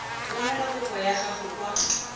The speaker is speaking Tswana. romela kopo ya gago kwa